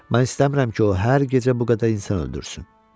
Mən istəmirəm ki, o hər gecə bu qədər insan öldürsün.